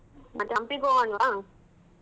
ಮತ್ತೆ ಹಂಪಿಗ್ ಹೋಗೋನ್ವಾ?